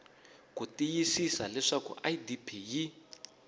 ku tiyisisa leswaku idp yi